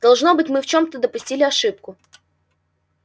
должно быть мы в чём-то допустили ошибку